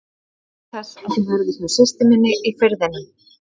Ég óska þess að þú verðir hjá systur minni í Firðinum.